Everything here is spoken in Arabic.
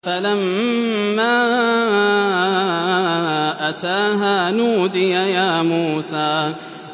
فَلَمَّا أَتَاهَا نُودِيَ يَا مُوسَىٰ